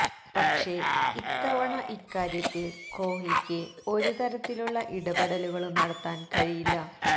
പക്ഷേ ഇത്തവണ ഇക്കാര്യത്തിൽ കോഹ്ലിക്ക് ഒരു തരത്തിലുള്ള ഇടപെടലുകളും നടത്താൻ കഴിയില്ല